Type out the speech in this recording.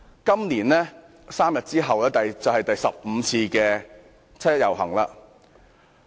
今年 ，3 天後便是第十五次的七一遊行。